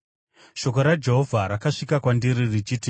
Shoko raJehovha rakasvika kwandiri richiti,